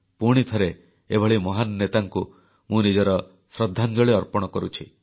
ପୁଣିଥରେ ଏଭଳି ମହାନ ନେତାଙ୍କୁ ମୁଁ ନିଜର ଶ୍ରଦ୍ଧାଞ୍ଜଳି ଅର୍ପଣ କରୁଛି